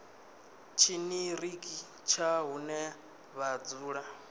tshiṱiriki tsha hune vha dzula